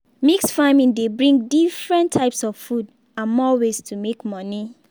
mix farming dey bring different types of food and more ways to make money